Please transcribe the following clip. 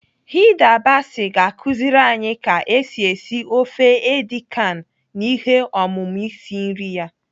Hilda Baci ga-akụziri anyi ka esi esi ofe edi kan na ihe ọmụmụ isi nri ya.